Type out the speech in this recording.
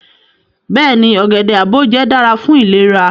Beeni, ogede aboje dara fun ilera